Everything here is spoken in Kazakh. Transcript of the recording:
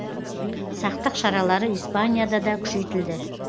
сақтық шаралары испанияда да күшейтілді